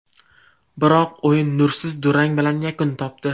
Biroq o‘yin nursiz durang bilan yakun topdi.